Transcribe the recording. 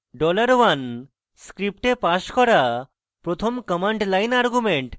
$1 script passed করা প্রথম command line argument